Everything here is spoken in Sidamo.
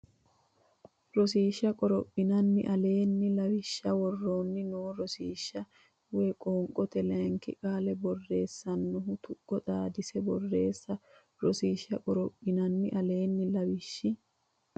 Rosiishsha qorophinanni aleenni lawishshi woroonni noo rosiishsha woy qoonqote Layinki qaale borreessannohu nnoti tuqqo xaadissine borreesse Rosiishsha qorophinanni aleenni lawishshi.